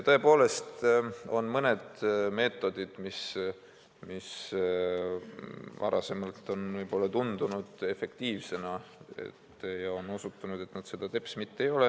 Tõesti on mõned meetodid, mis varem on võib-olla tundunud efektiivsena, aga on osutunud, et need seda teps mitte ei ole.